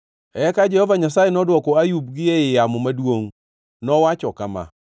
Eka Jehova Nyasaye nodwoko Ayub gi ei yamo maduongʼ. Nowacho kama: